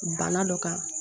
Bana dɔ kan